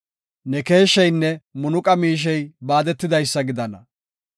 Ne keesheynne munaqa miishey baadetidaysa gidana.